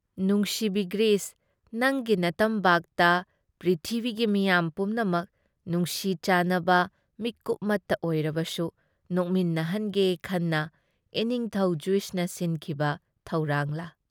ꯅꯨꯡꯁꯤꯕꯤ ꯘ꯭ꯔꯤꯁ, ꯅꯪꯒꯤ ꯅꯇꯝꯕꯥꯛꯇ ꯄ꯭ꯔꯤꯊꯤꯕꯤꯒꯤ ꯃꯤꯌꯥꯝ ꯄꯨꯝꯅꯃꯛ ꯅꯨꯡꯁꯤ ꯆꯥꯟꯅꯕ ꯃꯤꯀꯨꯞꯃꯠꯇ ꯑꯣꯏꯔꯕꯁꯨ ꯅꯣꯛꯃꯤꯟꯅꯍꯟꯒꯦ ꯈꯟꯅ ꯏꯅꯤꯡꯊꯧ ꯖꯤꯎꯖꯅ ꯁꯤꯟꯈꯤꯕ ꯊꯧꯔꯥꯡꯂꯥ?